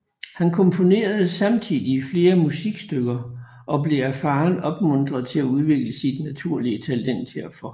Han komponerede samtidig flere musikstykker og blev af faderen opmuntret til at udvikle sit naturlige talent herfor